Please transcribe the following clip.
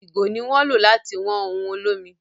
ìgò ni wón lo lati wọn òun olomi